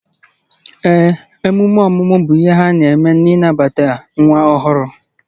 Emume ọmụmụ bụ ihe a na-eme n'ịnabata nwa ọhụrụ